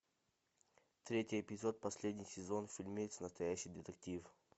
третий эпизод последний сезон фильмец настоящий детектив